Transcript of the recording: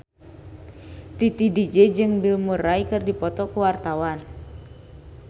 Titi DJ jeung Bill Murray keur dipoto ku wartawan